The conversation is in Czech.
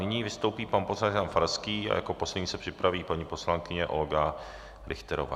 Nyní vystoupí pan poslanec Jan Farský a jako poslední se připraví paní poslankyně Olga Richterová.